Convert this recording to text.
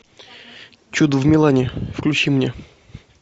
чудо в милане включи мне